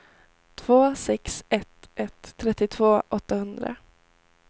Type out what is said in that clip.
två sex ett ett trettiotvå åttahundra